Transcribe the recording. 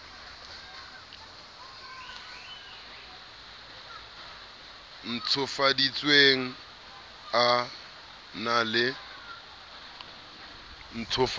o ntshofaditsweng a na le